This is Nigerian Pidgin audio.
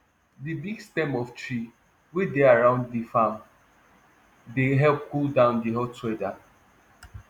di big stem of tree wey dey around di farm dey help cool down di hot weather